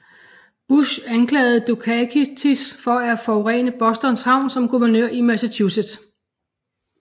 Bush anklagede Dukakis for at forurene Boston havn som guvernør i Massachusetts